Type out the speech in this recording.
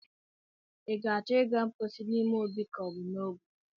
I ga-achọ ịga mpochi n'ime obi ka ọ bụ n'ogwe?